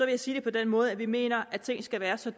jeg sige det på den måde at vi mener at ting skal være så